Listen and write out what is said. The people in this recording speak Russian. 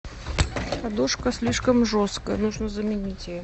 подушка слишком жесткая нужно заменить ее